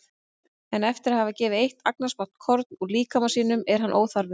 En eftir að hafa gefið eitt agnarsmátt korn úr líkama sínum er hann óþarfur.